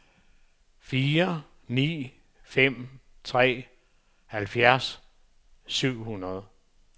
fire ni fem tre halvfjerds syv hundrede